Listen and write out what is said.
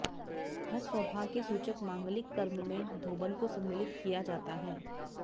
हर सौभाग्य सूचक मांगलिक कर्म में धोबन को सम्मिलित किया जाता है